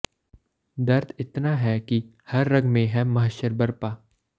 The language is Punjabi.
ਦਰਦ ਇਤਨਾ ਹੈ ਕਿ ਹਰ ਰਗ ਮੇਂ ਹੈ ਮਹਸ਼ਰ ਬਰਪਾ